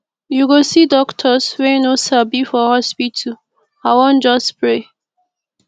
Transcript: you go see doctors wey no sabi for hospital i wan just pray